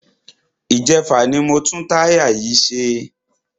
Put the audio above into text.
Ìjẹfà ni mo tún táyà yìí ṣe.